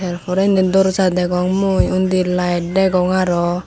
yor porendi dorza degong mui undi light degong aro.